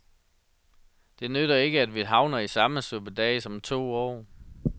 Det nytter ikke, at vi havner i samme suppedas om to år.